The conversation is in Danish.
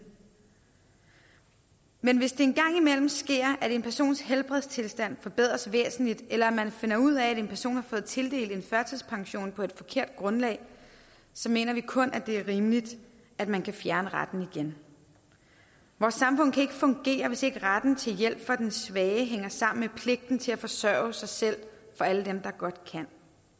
men hvis det engang imellem sker at en persons helbredstilstand forbedres væsentligt eller man finder ud af at en person har fået tildelt en førtidspension på et forkert grundlag så mener vi kun det er rimeligt at man kan fjerne retten igen vores samfund kan ikke fungere hvis ikke retten til hjælp for den svage hænger sammen med pligten til at forsørge sig selv for alle dem der godt kan